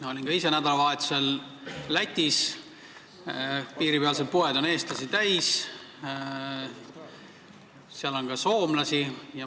Olin ka ise nädalavahetusel Lätis: piiripealsed poed on eestlasi täis, seal on ka soomlasi.